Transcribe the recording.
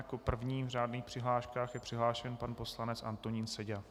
Jako první v řádných přihláškách je přihlášen pan poslanec Antonín Seďa.